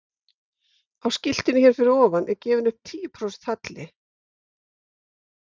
á skiltinu hér fyrir ofan er gefinn upp tíu prósent halli